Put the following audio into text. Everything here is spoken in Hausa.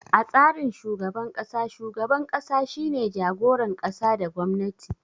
A tsarin shugaban kasa, shugaban ƙasa shine jagoran ƙasa da gwamnati.